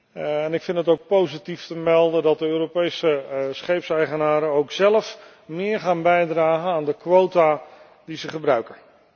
en ik vind het ook positief te melden dat de Europese scheepseigenaren ook zelf meer gaan bijdragen aan de quota die ze gebruiken.